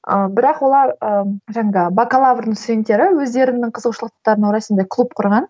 ы бірақ олар ыыы бакалаврдың студенттері өздерінің қызығушылықтарына орай сондай клуб құрған